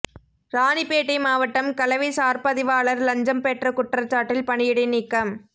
ராணிப்பேட்டை மாவட்டம் கலவை சார்பதிவாளர் லஞ்சம் பெற்ற குற்றசாட்டில் பணியிடை நீக்கம்